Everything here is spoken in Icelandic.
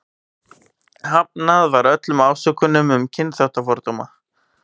Frekara lesefni á Vísindavefnum: Hvað er vitað um þá hefð að leggja hornsteina að byggingum?